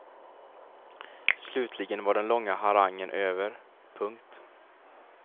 Slutligen var den långa harangen över. punkt